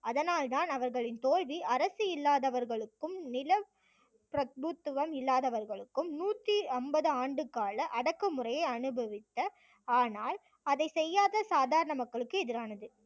அதனால்தான் அவர்களின் தோல்வி அரசு இல்லாதவர்களுக்கும் நிலப்பிரபுத்துவம் இல்லாதவர்களுக்கும் நூத்தி அம்பது ஆண்டு கால அடக்குமுறையை அனுபவித்த ஆனால் அதை செய்யாத சாதாரண மக்களுக்கு எதிரானது